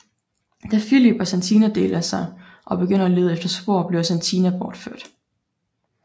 Da Filip og Satina deler sig og begynder at lede efter spor bliver Satina bortført